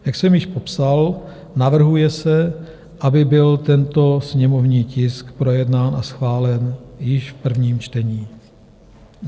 Jak jsem již popsal, navrhuje se, aby byl tento sněmovní tisk projednán a schválen již v prvním čtení.